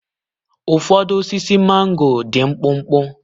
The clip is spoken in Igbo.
Ụfọdụ osisi mango dị mkpụmkpụ.